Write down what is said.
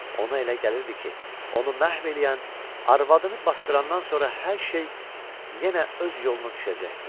Ona elə gəlirdi ki, onu məhv eləyən arvadını basdırandan sonra hər şey yenə öz yoluna düşəcəkdi.